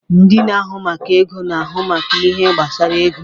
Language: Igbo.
Ndị na-ahụ maka ego na-ahụ maka ihe gbasara ego.